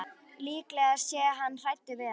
Líklega sé hann hræddur við hana.